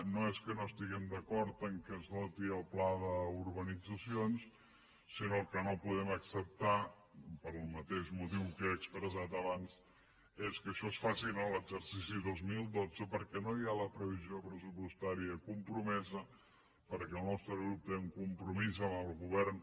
no és que no esti·guem d’acord que es doti el pla d’urbanitzacions sinó que el que no podem acceptar pel mateix motiu que he expressat abans és que això es faci en l’exercici dos mil dotze perquè no hi ha la previsió pressupostària comprome·sa perquè el nostre grup té un compromís amb el go·vern